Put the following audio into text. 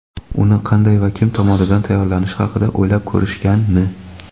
uni qanday va kim tomonidan "tayyorlanishi" haqida o‘ylab ko‘rishganmi?.